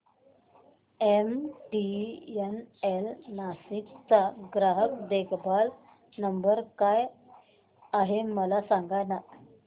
MTNL Nashik चा ग्राहक देखभाल नंबर काय आहे मला सांगाना